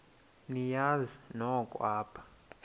niyazi nonk apha